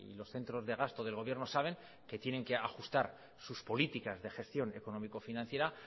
los centros de gasto del gobierno saben que tienen que ajustar sus políticas de gestión económico financiera